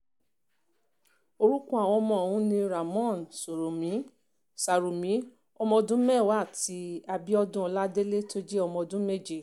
orúkọ àwọn ọmọ ọ̀hún ni ramón sarumi ọmọọdún mẹ́wàá àti abiodun ọládélé tó jẹ́ ọmọ ọdún méje